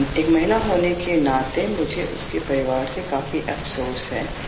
एक महिला म्हणून मला ह्याचे फार दुख झाले